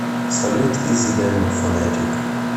салют из эдема фонетик